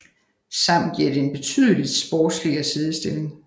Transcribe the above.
Sammen giver det en betydeligt sportsligere siddestilling